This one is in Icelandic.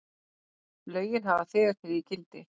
Lögin hafa þegar tekið gildi.